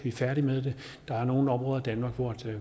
er færdige med det der er nogle områder i danmark hvor